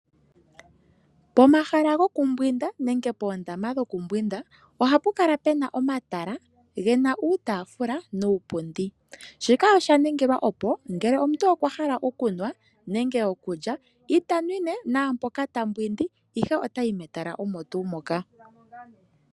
Pomahala gokumbwinda nenge poondama dhokumbwinda, ohapu kala pu na omatala ge na uutaafula nuupundi. Shika osha ningilwa, opo ngele omuntu okwa hala okunwa nenge okulya ita nwine mpoka ta mbwindi, ihe ota yi metala omo tuu moka.